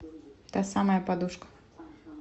та самая подушка